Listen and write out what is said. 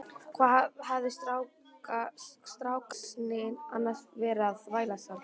Hvað hafði strákasninn annars verið að þvælast þarna?